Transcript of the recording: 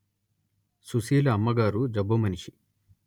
సుశీల అమ్మగారు జబ్బు మనిషి